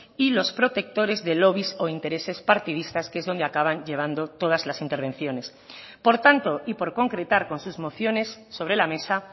y los protectores de lobbies o intereses partidistas que es donde acaban llevando todas las intervenciones por tanto y por concretar con sus mociones sobre la mesa